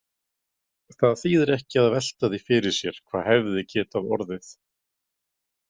Það þýðir ekki að velta því fyrir sér hvað hefði getað orðið.